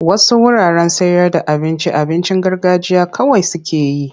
Wasu wuraren sayarda abincin abincin garganjiya kawai suke yi.